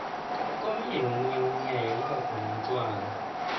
komunye nomunye umnyanya kubakhona utjwala